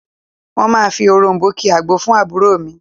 Wọ́n máa fi òròm̀bó ki agbo fún àbúrò mi